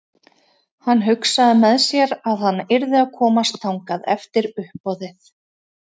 Hann hugsaði með sér að hann yrði að komast þangað eftir uppboðið.